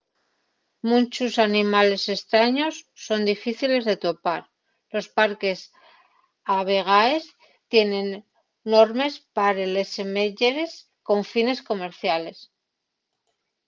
munchos animales estraños son difíciles de topar los parques a vegaes tienen normes pa les semeyes con fines comerciales